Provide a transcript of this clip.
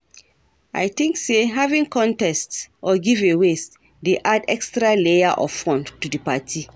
I think say having contests or giveaways dey add extra layer of fun to di party.